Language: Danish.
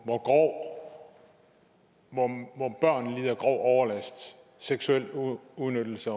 hvor børn lider grov overlast seksuel udnyttelse